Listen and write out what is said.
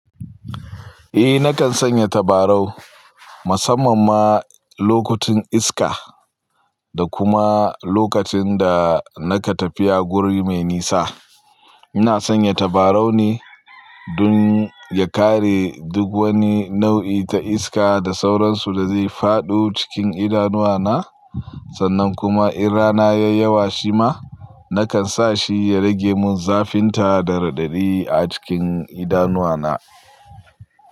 Eh nakan sanya tabarau musamman ma lokutan iska da kuma lokacin da naka tafiya guri me nisa. Ina sanya tabarau ne don ya kare duk wani nau'i ta iska da sauransu da zai faɗo cikin idanuwa na. Sannan kuma in rana yai yawa shima nakan sa shi ya rage mun zafinta da radadi a cikin idanuwa na.